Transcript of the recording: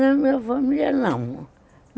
Na minha família, não.